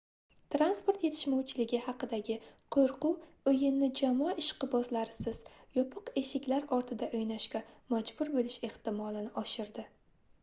transport yetishmovchiligi haqidagi qoʻrquv oʻyinni jamoa ishqibozlarisiz yopiq eshiklar ortida oʻynashga majbur boʻlish ehtimolini oshirdi